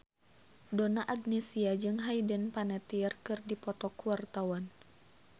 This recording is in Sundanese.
Donna Agnesia jeung Hayden Panettiere keur dipoto ku wartawan